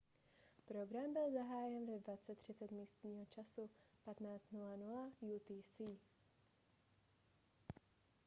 program byl zahájen ve 20:30 místního času 15:00 utc